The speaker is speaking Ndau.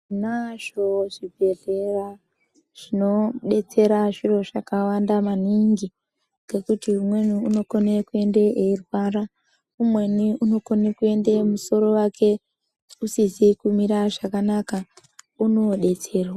Tinazvo zvibhedhlera zvinobetsera zviro zvakawanda maningi ngekuti umweni unokone kuenda weirwara umweni unokone kuenda musoro wake usisizi kumira zvakanaka unokone kubetserwa .